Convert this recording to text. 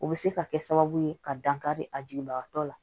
O bɛ se ka kɛ sababu ye ka dankari a jigibagatɔ la